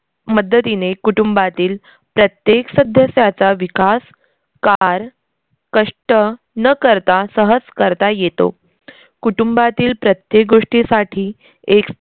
मद्दतीनेतीने कुटुंबातील प्रत्येक सदस्याचा विकास कार कष्ट न करता सहज करता येतो. कुटुंबातील प्रत्येक गोष्टीसाठी एक